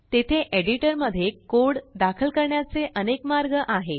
तेथेएडिटरमध्ये code दाखल करण्याचेअनेक मार्ग आहेत